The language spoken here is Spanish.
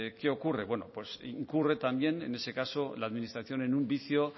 qué ocurre incurre también en ese caso la administración en un vicio